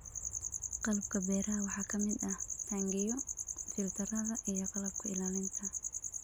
Qalabka beeraha waxaa ka mid ah taangiyo, filtarrada iyo qalabka ilaalinta.